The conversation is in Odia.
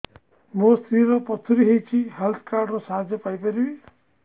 ମୋ ସ୍ତ୍ରୀ ର ପଥୁରୀ ହେଇଚି ହେଲ୍ଥ କାର୍ଡ ର ସାହାଯ୍ୟ ପାଇପାରିବି